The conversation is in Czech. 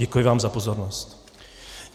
Děkuji vám za pozornost.